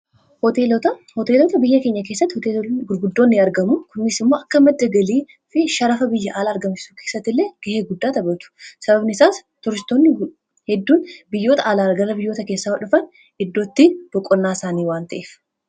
Hooteelota biyya keenya keessatti hoteela gurguddoonni argamu kunis immoo akka madda galii fi sharafa biyya ala argamisu keessatti illee ga'ee guddaa taphatu. sababni isaas turistoonni hedduun biyyoota alaa gara biyyoota keessaa dhufan iddootti boqonnaa isaanii waan ta'eef.